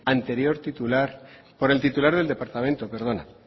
anterior titular por el titular del departamento perdona